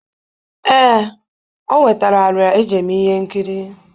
Ee, o wetara arịa e ji eme ihe nkiri.